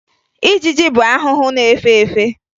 Ijiji bụ ahụhụ na-efe efe